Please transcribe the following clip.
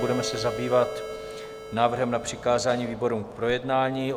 Budeme se zabývat návrhem na přikázání výborům k projednání.